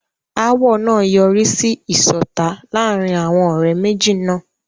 Ááwọ̀ náà yọrí sí ìṣọ̀tá láàárín àwọn ọ̀rẹ́ méjì náà.